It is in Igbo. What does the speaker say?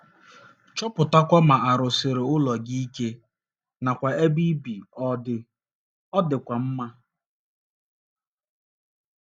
Chọpụtakwa ma a rụsikwara ụlọ gị ike nakwa ma ebe ọ dị ọ̀ dịkwa mma.